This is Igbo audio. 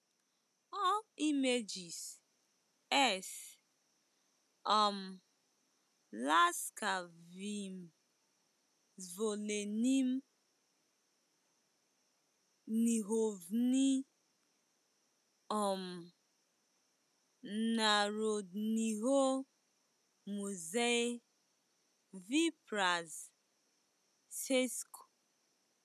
All images: S um laskavým svolením knihovny um Národního muzea v Praze, C̆esko.